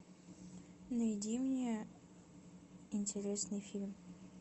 найди мне интересный фильм